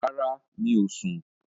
Rárá, mi ò sun